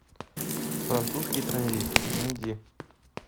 французский транзит найди